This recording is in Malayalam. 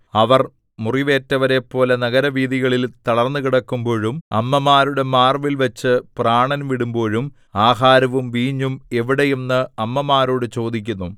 അവർ മുറിവേറ്റവരെപ്പോലെ നഗരവീഥികളിൽ തളർന്നുകിടക്കുമ്പോഴും അമ്മമാരുടെ മാർവ്വിൽവച്ച് പ്രാണൻ വിടുമ്പോഴും ആഹാരവും വീഞ്ഞും എവിടെ എന്ന് അമ്മമാരോട് ചോദിക്കുന്നു